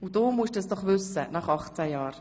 Und du musst es nach 18 Jahren wissen.